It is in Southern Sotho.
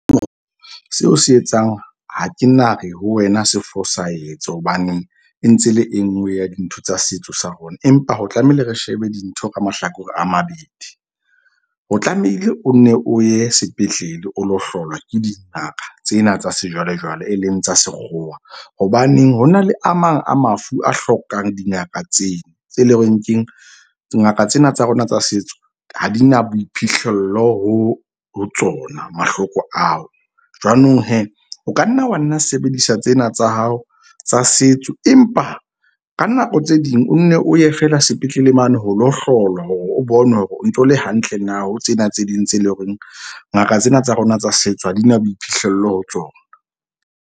Seo o se etsang, ha ke nare ho wena sefosahetse, hobaneng e ntse le e nngwe ya dintho tsa setso sa rona. Empa ho tlamehile re shebe dintho ka mahlakore a mabedi o tlamehile o nne o ye sepetlele o lo hlolwa ke dingaka tsena tsa sejwalejwale, e leng tsa sekgowa. Hobaneng ho na le a mang a mafu a hlokang dingaka tsena tse leng horeng keng dingaka tsena tsa rona tsa setso ha di na boiphihlello ho tsona mahloko ao. Jwanong o ka nna wa nna sebedisa tsena tsa hao tsa setso. Empa ka nako tse ding o nne o ye feela sepetlele mane ho lo hlolwa hore o bonwe hore o ntso le hantle na. Ho tsena tse ding tse leng horeng ngaka tsena tsa rona tsa setso ha di na boiphihlello ho tsona.